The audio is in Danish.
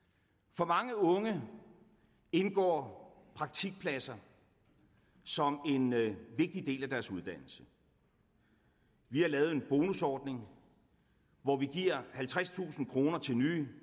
for mange unge indgår praktikpladser som en vigtig del af deres uddannelse vi har lavet en bonusordning hvor vi giver halvtredstusind kroner til nye